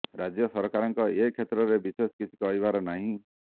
ରାଜ୍ୟ ସରକାରଙ୍କ ଏ କ୍ଷେତ୍ରରେ ବିଶେଷ କିଛି କରିବାର ନାହିଁ